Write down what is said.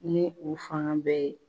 Ni u fana bɛɛ ye.